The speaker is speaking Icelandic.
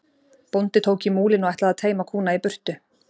Bóndi tók í múlinn og ætlaði að teyma kúna í burtu.